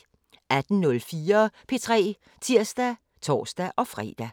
18:04: P3 (tir og tor-fre)